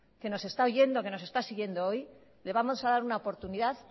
que nos está oyendo que nos está siguiendo hoy le vamos a dar una oportunidad